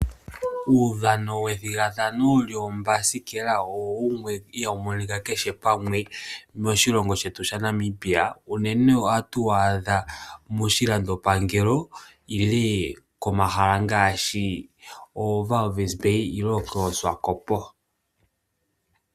Uudhano wethigathano lyoombasikela owo wumwe ihaawu monika kehe pamwe moshilongo shetu shaNamibia, unene ohatu wu adha moshilandopangelo nenge koondoolopa ngaashi Walvis bay nenge koSwakopmund.